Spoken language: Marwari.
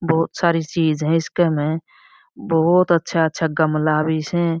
बहुत सारी चीज़ है इसके में बहुत अच्छा अच्छा गमला भी स।